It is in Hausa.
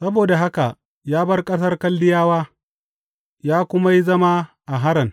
Saboda haka ya bar ƙasar Kaldiyawa ya kuma yi zama a Haran.